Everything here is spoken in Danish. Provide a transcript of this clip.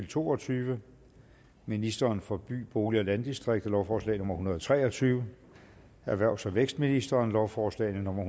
to og tyve ministeren for by bolig og landdistrikter lovforslag nummer hundrede og tre og tyve erhvervs og vækstministeren lovforslag nummer